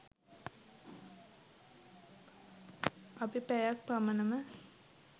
අපි පැයක් පමණම